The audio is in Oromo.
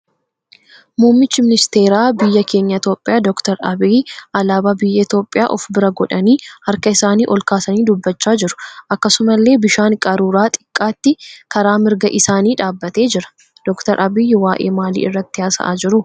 Muummichi ministeeraa biyya keenya Itiyoopiyaa Dr. Abiyyi alaabaa biyya Itiyoopiyaa of bira godhanii harka isaanii ol kaasanii dubbachaa jiru. Akkasumallee bishaan qaruuraa xiqqaatti karaa mirga isaanii dhaabbatee jira. Dr. Abiyyi waa'ee maalii irratti haasa'aa jiru?